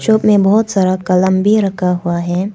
Shop मे बहुत सारा कलम भी रखा हुआ है।